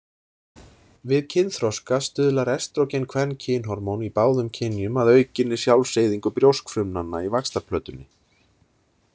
Við kynþroska stuðlar estrógenkvenkynhormón í báðum kynjum að aukinni sjálfseyðingu brjóskfrumnanna í vaxtarplötunni.